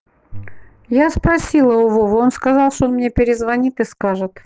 я спросила у вовы он сказал что он мне перезвонит и скажет